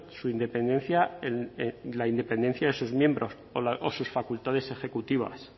su independencia en la independencia de sus miembros o sus facultades ejecutivas